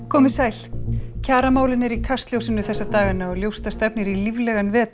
komið sæl kjaramálin eru í kastljósinu þessa dagana og ljóst að stefnir í líflegan vetur